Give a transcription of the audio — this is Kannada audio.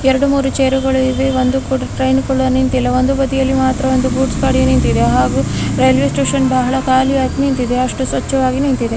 ಎರಡು ಮೂರು ಚೇರುಗಳಿವೆ ಹಾಗೂ ಒಂದು ಟ್ರೈನ್ ಕೂಡ ನಿಂತಿದೆ ಹಾಗೂ ಒಂದು ಬದಿಯಲ್ಲಿ ಮಾತ್ರ ಒಂದು ಗೂಡ್ಸ್ ಗಾಡಿ ನಿಂತಿದೆ ಹಾಗು ರೈಲ್ವೆ ಸ್ಟೇಷನ್ ಅಷ್ಟು ಸ್ವಚ್ಛವಾಗಿದೆ ಇಲ್ಲಿ.